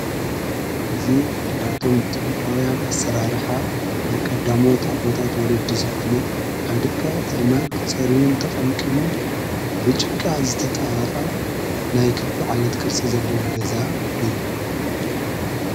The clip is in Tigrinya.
እዙ ካብቶን ጥነታውያን ኣሠራርሓ ናይ ቀዳሞት ኣቦታት ወለዲ ዝኾነ ካብ ድቀ ቲእማን ተጸርቡን ተቐምቕሙን ብጭቃ ዝተጣሃቓ ናይ ክቢ ዓይነት ቅርጽ ዘለዎ ገዛ እዩ።